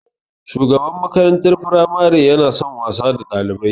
Shugaban makarantar firamare yana son wasa da Ɗalibai.